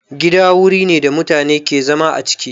Gida wuri ne da mutane ke zama a ciki